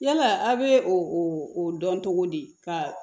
Yala a' bɛ o o dɔn cogo di ka